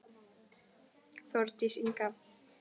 Þórdís Inga.